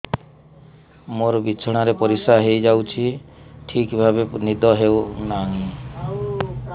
ମୋର ବିଛଣାରେ ପରିସ୍ରା ହେଇଯାଉଛି ଠିକ ଭାବେ ନିଦ ହଉ ନାହିଁ